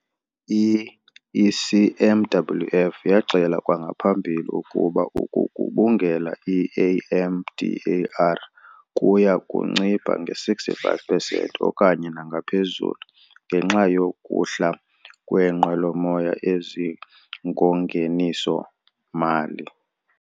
I-ECMWF yaxela kwangaphambili ukuba ukugubungela i-AMDAR kuya kuncipha nge-65 pesenti okanye nangaphezulu ngenxa yokuhla kweenqwelomoya ezingongeniso-mali.